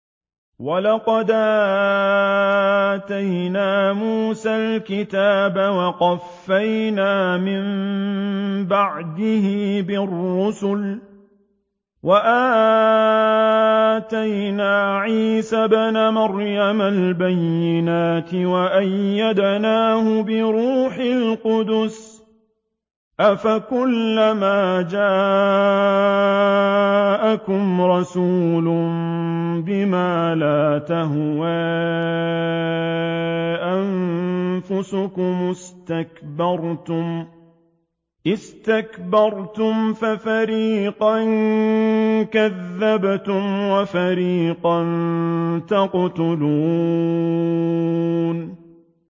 وَلَقَدْ آتَيْنَا مُوسَى الْكِتَابَ وَقَفَّيْنَا مِن بَعْدِهِ بِالرُّسُلِ ۖ وَآتَيْنَا عِيسَى ابْنَ مَرْيَمَ الْبَيِّنَاتِ وَأَيَّدْنَاهُ بِرُوحِ الْقُدُسِ ۗ أَفَكُلَّمَا جَاءَكُمْ رَسُولٌ بِمَا لَا تَهْوَىٰ أَنفُسُكُمُ اسْتَكْبَرْتُمْ فَفَرِيقًا كَذَّبْتُمْ وَفَرِيقًا تَقْتُلُونَ